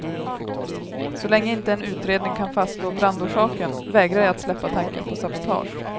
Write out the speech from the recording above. Så länge inte en utredning kan fastslå brandorsaken vägrar jag att släppa tanken på sabotage.